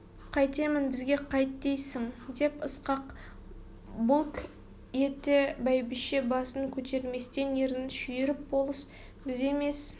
қайтемін бізге қайт дейсің деп ысқақ бұлк ете бәйбіше басын көтерместен ернін шүйіріп болыс біз емес